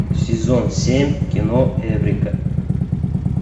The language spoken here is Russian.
сезон семь кино эврика